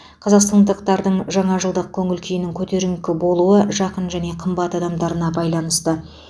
қазақстандықтардың жаңа жылдық көңіл күйінің көтеріңкі болуы жақын және қымбат адамдарына байланысты